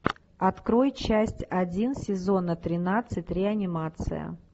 открой часть один сезона тринадцать реанимация